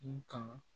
N kan